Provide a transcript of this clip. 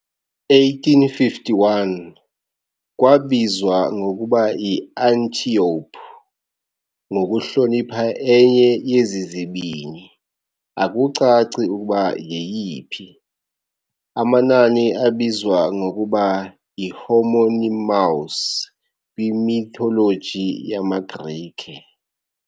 1851 Kwabizwa ngokuba yi-Antiope ngokuhlonipha enye yezi zibini, akucaci ukuba yeyiphi, amanani abizwa ngokuba yi-homonymous kwi-mythology yamaGrike.